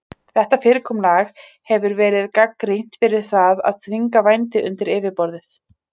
Þetta fyrirkomulag hefur verið gagnrýnt fyrir það að þvinga vændi undir yfirborðið.